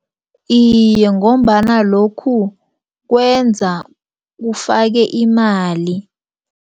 Iye, ngombana lokhu kwenza ufake imali.